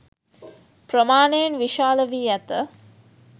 ප්‍රමාණයෙන් විශාල වී ඇත